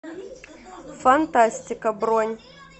фантастика бронь